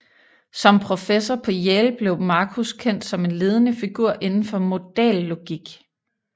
Som professor på Yale blev Marcus kendt som en ledende figur inden for modallogik